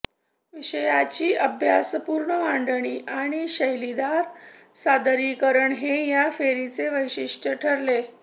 विषयांची अभ्यासपूर्ण मांडणी आणि शैलीदार सादरीकरण हे या फेरीचे वैशिष्टय़ ठरले